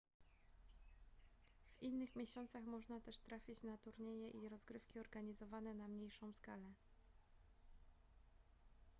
w innych miesiącach można też trafić na turnieje i rozgrywki organizowane na mniejszą skalę